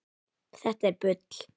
Þetta er bull.